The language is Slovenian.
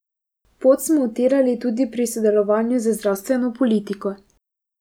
Pot smo utirali tudi pri sodelovanju z zdravstveno politiko.